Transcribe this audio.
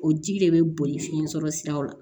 O ji de bɛ boli fiɲɛ sɔrɔ siraw la